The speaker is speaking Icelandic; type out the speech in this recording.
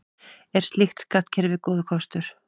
Er slíkt skattkerfi góður kostur?